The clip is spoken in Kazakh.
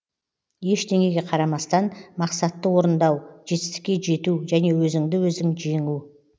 ештеңеге қарамастан мақсатты орындау жетістікке жету және өзіңді өзің жеңу